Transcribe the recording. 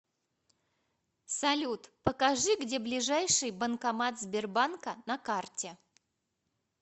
салют покажи где ближайший банкомат сбербанка на карте